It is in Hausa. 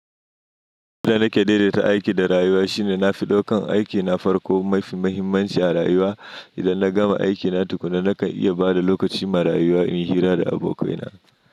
Yadda na ke daidaita aiki da rayuwa shine na fi daukan aikina farko mafi mahimmanci a rayuwa. Idan na gama aikina tukuna nakan iya bada lokaci ma rayuwa in hira da abokaina.